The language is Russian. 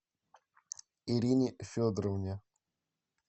ирине федоровне